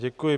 Děkuji.